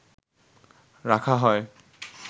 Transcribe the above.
রাখা হয়